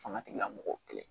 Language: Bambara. Fanga tigilamɔgɔw kɛlɛ